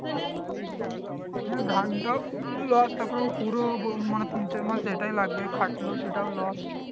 হ্যাঁ ধানটাও loss আবার ও পুরো মানে তিন চার মাস যেটাই লাগবে খাটলো সেটাও loss